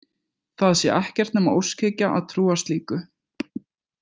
Það sé ekkert nema óskhyggja að trúa slíku.